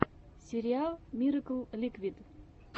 сериал миракл ликвид